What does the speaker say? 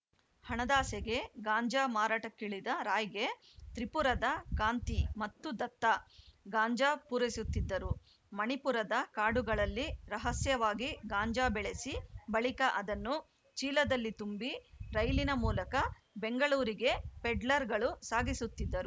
ಹಣದಾಸೆಗೆ ಗಾಂಜಾ ಮಾರಾಟಕ್ಕಿಳಿದ ರಾಯ್‌ಗೆ ತ್ರಿಪುರದ ಕಾಂತಿ ಮತ್ತು ದತ್ತಾ ಗಾಂಜಾ ಪೂರೈಸುತ್ತಿದ್ದರು ಮಣಿಪುರದ ಕಾಡುಗಳಲ್ಲಿ ರಹಸ್ಯವಾಗಿ ಗಾಂಜಾ ಬೆಳೆಸಿ ಬಳಿಕ ಅದನ್ನು ಚೀಲದಲ್ಲಿ ತುಂಬಿ ರೈಲಿನ ಮೂಲಕ ಬೆಂಗಳೂರಿಗೆ ಪೆಡ್ಲರ್‌ಗಳು ಸಾಗಿಸುತ್ತಿದ್ದರು